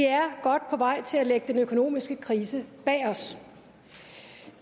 godt på vej til at lægge den økonomiske krise bag os